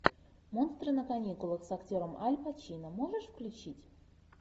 монстры на каникулах с актером аль пачино можешь включить